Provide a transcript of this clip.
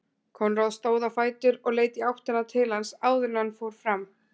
Konráð stóð á fætur og leit í áttina til hans áður en hann fór fram.